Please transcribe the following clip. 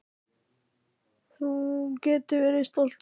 Þú getur verið stoltur af því.